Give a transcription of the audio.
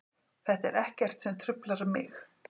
Þetta er ekkert sem truflar mig.